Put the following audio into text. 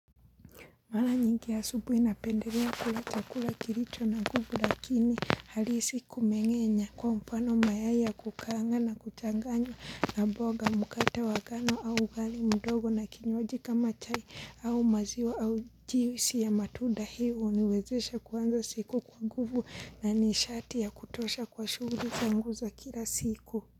Mara nyingi asubuhi napendelea kula chakula kilicho na nguvu lakini halisi kumeng'enya kwa mfano mayai ya kukaanga na kuchanganya na mboga mkate wa ngano au ugali mdogo na kinywaji kama chai au maziwa au juisi ya matunda hii huniwezesha kuanza siku kwa nguvu na nishati ya kutosha kwa shughuli zangu za kila siku.